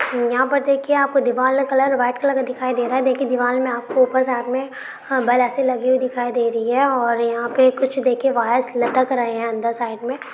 यहां पर देखिए आपको दिवाल का कलर वाइट कलर का दिखाई दे रहा है देखिए दिवाल में आपके ऊपर साइड मे बॉल ऐसे लगी दिखाई दे रही है और यहां पे कुछ वायर्स लटक रही हैं अंदर साइड में